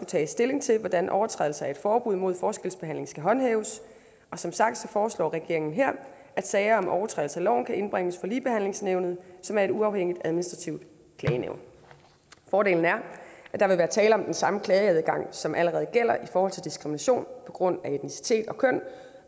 tages stilling til hvordan overtrædelser af et forbud mod forskelsbehandlingen skal håndhæves og som sagt foreslår regeringen her at sager om overtrædelse af loven kan indbringes for ligebehandlingsnævnet som er et uafhængigt administrativt klagenævn fordelen er at der vil være tale om den samme klageadgang som allerede gælder i forhold til diskrimination på grund af etnicitet og køn